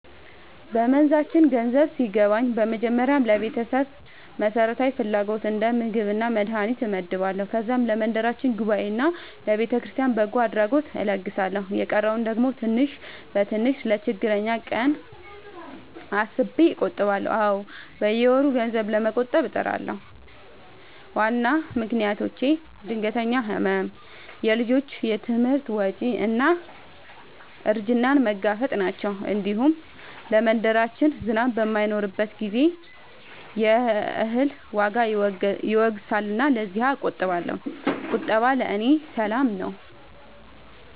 በመንዛችን ገንዘብ ሲገባኝ በመጀመሪያ ለቤተሰብ መሠረታዊ ፍላጎት እንደ ምግብና መድሀኒት እመድባለሁ። ከዛም ለመንደራችን ጉባኤና ለቤተክርስቲያን በጎ አድራጎት እለግሳለሁ። የቀረውን ደግሞ ትንሽ በትንሽ ለችግረኛ ቀን አስቤ እቆጥባለሁ። አዎ፣ በየወሩ ገንዘብ ለመቆጠብ እጥራለሁ። ዋና ምክንያቶቼ ድንገተኛ ሕመም፣ የልጆች ትምህርት ወጪ እና እርጅናን መጋፈጥ ናቸው። እንዲሁም ለመንደራችን ዝናብ በማይኖርበት ጊዜ የእህል ዋጋ ይወገሳልና ለዚያም እቆጥባለሁ። ቁጠባ ለእኔ ሰላም ነው።